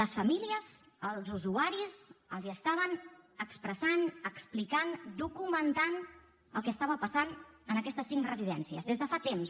les famílies els usuaris els estaven expressant explicant documentant el que estava passant en aquestes cinc residències des de fa temps